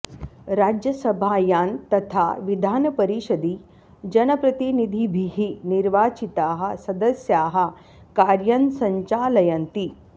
राज्यसभायां तथा विधानपरिषदि जनप्रतिनिधिभिः निर्वाचिताः सदस्याः कार्यं सञ्चालयन्ति